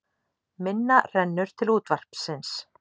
Minna rennur til útvarpsins